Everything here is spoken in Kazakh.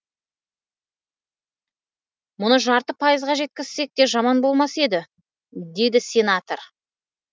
мұны жарты пайызға жеткізсек те жаман болмас еді дейді сенатор